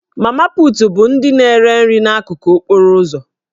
Mama put' bụ ndị na-ere nri n'akụkụ okporo ụzọ